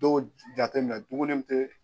Dɔw jate minɛ duguni mun tɛ